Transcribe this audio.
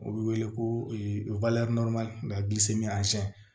U bɛ wele ko